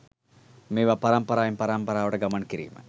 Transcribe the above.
මේවා පරම්පරාවෙන් පරම්පරාවට ගමන් කිරීම